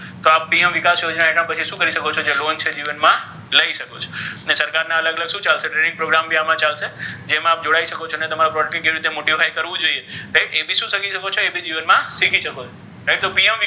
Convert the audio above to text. તો આ PM વિકાસ યોજના હેઠળ પછી શુ કરી શકો જે લોન છેને જીવન મા લઇ શકો છો ને સરકાર ન અલગ અલગ શુ ચાલે છે અલગ અલગ training program પણ આમા ચાલશે જેમા જોઇ શકો છો અને તમારી product ને કેવી રીતે modify કરવુ જોઇએ ઍ ભી શુ કરી શકો ઍ ભી જીવન મા શીખી શકો છો right તો PM.